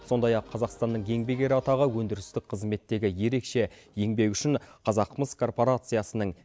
сондай ақ қазақстанның еңбек ері атағы өндірістік қызметтегі ерекше еңбегі үшін қазақмыс корпорациясының